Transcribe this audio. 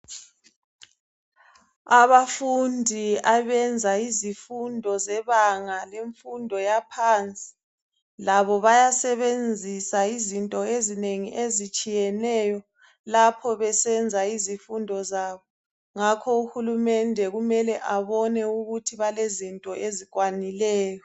abafundi abenza izifundo zebanga lemfundo yaphansi labo bayasebenzisa izinto ezinengi ezitshiyeneyo lapho besenza izifundo zabo ngakho uhulumende kumele abone ukuthi balezinto ezikwanileyo